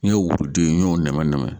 N ye worode n y'o nɛmɛ nɛmɛ